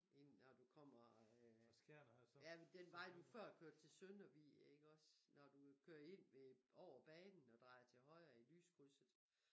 Ind når du kommer øh ja den vej du før kørte til Søndervig iggås når du kører ind ved over banen og drejer til højre i lyskrydset